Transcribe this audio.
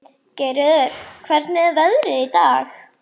Geirröður, hvernig er veðrið í dag?